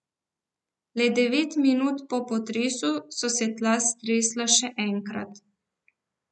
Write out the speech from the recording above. Le devet minut po potresu so se tla stresla še enkrat.